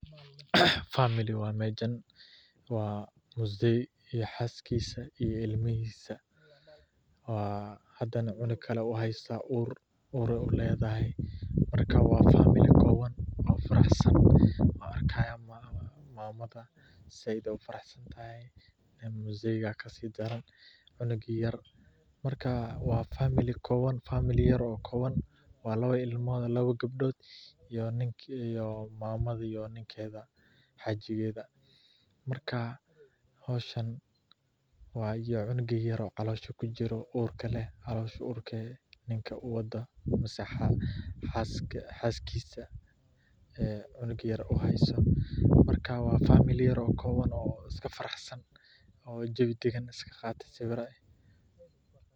Famili waye, waa nin iyo xaskiisa iyo ilmahiidmsa, uur ayeey uledahay, waa famil yar oo kooban oo isku faraxsan, howshan cunuga yar oo caloosha kujire, waa famili yar oo kooban oo isku faraxsan.